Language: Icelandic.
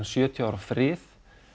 sjötíu ára frið